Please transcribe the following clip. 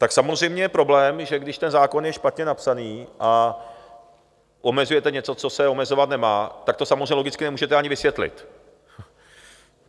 Tak samozřejmě je problém, že když ten zákon je špatně napsaný a omezujete něco, co se omezovat nemá, tak to samozřejmě logicky nemůžete ani vysvětlit.